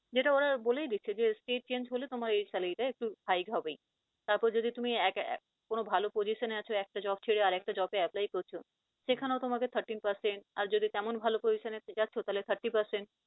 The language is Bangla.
যেটা ওরা বলেই দিচ্ছে যে state change হলে তোমার এই salary টা একটু hide হবেই তারপর যদি তুমি কোন ভাল position এ আছো, একটা job ছেড়ে আরেকটা job এ apply করছ সেখানেও তোমাকে thirteen percent আর যদি তেমন ভাল postion এ যাচ্ছ তাহলে thirty percent